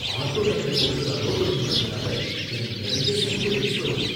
ortho doctor கொடுக்கற allopathy மருந்துனால எனக்கு நிறைய ஸைடு எஃபக்ட்ஸ் வருது